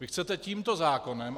Vy chcete tímto zákonem...